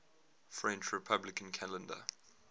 french republican calendar